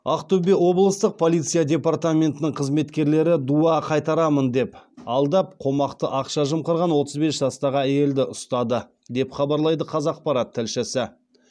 ақтөбе облыстық полиция департаментінің қызметкерлері дуа қайтарамын деп алдап қомақты ақша жымқырған отыз бес жастағы әйелді ұстады деп хабарлайды қазақпарат тілшісі